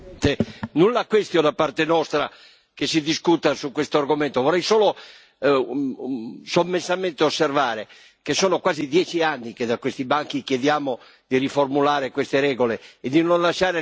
da parte nostra che si discuta su questo argomento. Vorrei solo, sommessamente, osservare che sono quasi dieci anni che da questi banchi chiediamo di riformulare queste regole e di non lasciare l'Italia da sola.